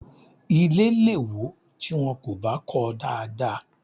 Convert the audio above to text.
Ilé lè wò tí wọn kò bá kọọ dáadáa